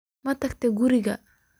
Matagtey kuriga.